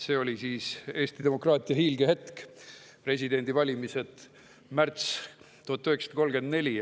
See oli Eesti demokraatia hiilgehetk – presidendivalimised märtsis 1934.